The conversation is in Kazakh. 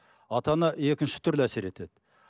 ата ана екінші түрде әсер етеді